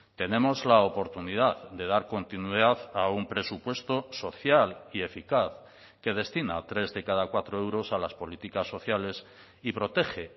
tenemos la oportunidad de dar continuidad a un presupuesto social y eficaz que destina tres de cada cuatro euros a las políticas sociales y protege